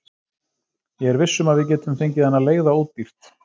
Ég er viss um að við getum fengið hana leigða ódýrt.